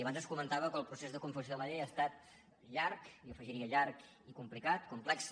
abans es comentava que el procés de confecció de la llei ha estat llarg i jo hi afegiria llarg i complicat complex